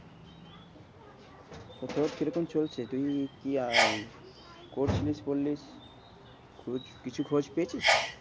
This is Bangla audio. তোর কিরকম চলছে? তুই কি আর আহ করছিস বললি খোঁজ, কিছু খোঁজ পেয়েছিস।